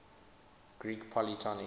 greek polytonic